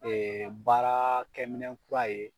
baaraakɛminɛn kura ye